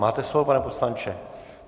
Máte slovo, pane poslanče.